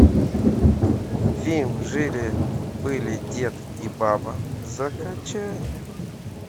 фильм жили были дед и баба закачай